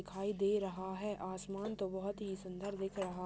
दिखाई दे रहा है आसमान तो बहुत ही सुंदर दिख रहा--